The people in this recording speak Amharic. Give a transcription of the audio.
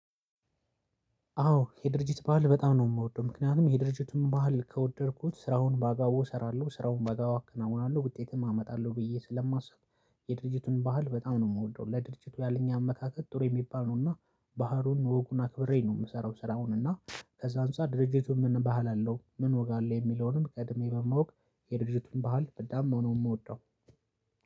አዎ የድርጅት ባህል በጣም ነው የምወደው ምክንያቱም የድርጅቱን ባህል ከወደድኩት ስራውን ባጋቦቡ እሰራለሁ ስራውን ባንባብ አከናውናለሁ ውጤትም አመጣለሁ ብዬ ስለማስብ። የድርጅቱን ባህል በጣም ነው የምወደው። ለድርጅቱ ያለኝ አመካከት ጥሩ የሚባለዘል ነው እና ባህሉን ወጉን አክብሬ ነው የምሰራው። ስራውን እና ከዛ አንፃር ድርጅቱን ምን ባህል አለው ምን ወግ አለው የሚለውንም ቀድሜ በማወቅ የድርጅቱን ባህል በጣም ነው የምወደው።